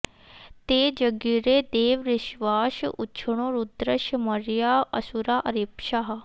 ते जज्ञिरे दिव ऋष्वास उक्षणो रुद्रस्य मर्या असुरा अरेपसः